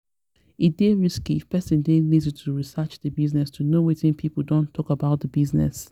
e dey risky if person dey lazy to research di business to know wetin pipo don talk about di business